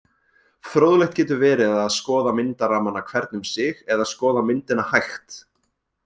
Fróðlegt getur verið að skoða myndarammana hvern um sig eða skoða myndina hægt.